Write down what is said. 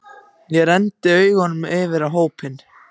Og renndi augunum yfir á hópinn.